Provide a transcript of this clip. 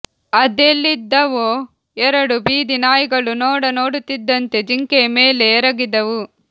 ಅದೆಲ್ಲಿದ್ದವೋ ಎರಡು ಬೀದಿ ನಾಯಿಗಳು ನೋಡ ನೋಡುತ್ತಿದ್ದಂತೆ ಜಿಂಕೆಯ ಮೇಲೆ ಎರಗಿದವು